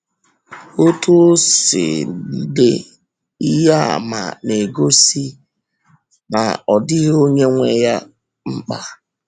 Ọ̀tú ọ̀ si n’dị, ihe àmà na-egosi na ọ dịghị onye nwe ya nwe ya mkpa.